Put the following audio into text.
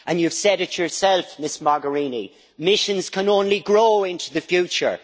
And you've said it yourself, Ms Mogherini, missions can only grow into the future.